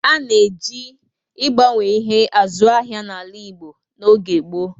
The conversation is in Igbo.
A na-eji ịgbanwe ihe azụ ahịa n'ala Igbo n'oge gboo